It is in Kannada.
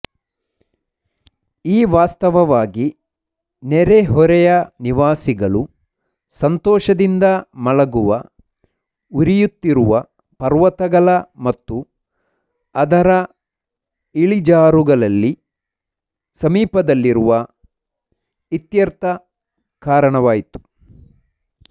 ಈ ವಾಸ್ತವವಾಗಿ ನೆರೆಹೊರೆಯ ನಿವಾಸಿಗಳು ಸಂತೋಷದಿಂದ ಮಲಗುವ ಉರಿಯುತ್ತಿರುವ ಪರ್ವತಗಳ ಮತ್ತು ಅದರ ಇಳಿಜಾರುಗಳಲ್ಲಿ ಸಮೀಪದಲ್ಲಿರುವ ಇತ್ಯರ್ಥ ಕಾರಣವಾಯಿತು